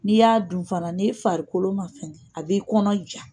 N'i y'a dun fana ni'i farikolo ma fɛn a b'i kɔnɔ ja.